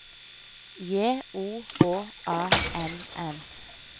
J O H A N N